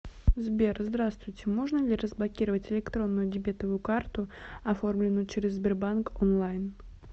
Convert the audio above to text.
сбер здравствуйте можно ли разблокировать электронную дебетовую карту оформленную через сбербаннк онлайн